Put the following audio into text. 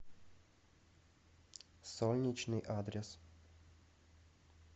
солнечный адрес